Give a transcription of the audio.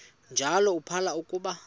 njalo uphalo akuba